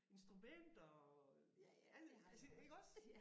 Instrumenter og ja alle ik iggås